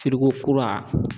Firiko kura